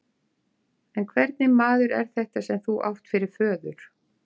En hvernig maður er þetta svo sem þú átt fyrir föður?